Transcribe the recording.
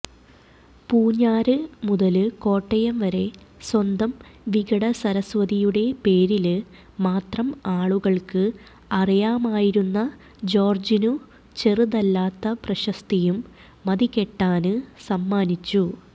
പൂഞ്ഞാര് മുതല് കോട്ടയംവരെ സ്വന്തം വികടസരസ്വതിയുടെ പേരില് മാത്രം ആളുകള്ക്ക് അറിയാമായിരുന്ന ജോര്ജിനു ചെറുതല്ലാത്ത പ്രശസ്തിയും മതികെട്ടാന് സമ്മാനിച്ചു